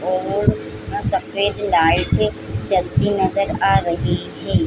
और सफ़ेद लाइट जलती नजर आ रही हैं।